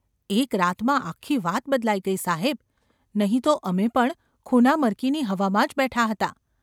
‘એક રાતમાં આખી વાત બદલાઈ ગઈ, સાહેબ ! નહિ તો અમે પણ ખૂનામરકીની હવામાં જ બેઠા હતા.